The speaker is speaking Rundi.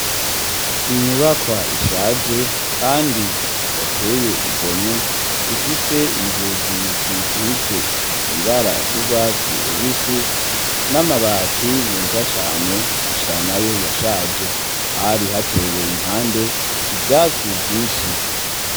inyubakwa ishaje kandi dateye igomwe ifise inzugi zisize ibara ry'urwatsi rubisi n'amabati meza cane gusa nayo yashaje hari hateye impande ivyatsi vyinshi.